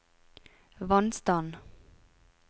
vannstand